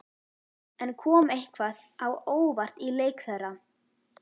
En kom eitthvað á óvart í leik þeirra?